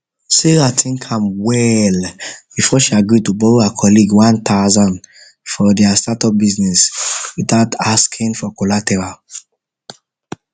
sarah think am well before she agree to borrow her colleague one thousand for their startup business without asking for collateral